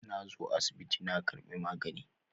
Na zo asibiti na karbi magani.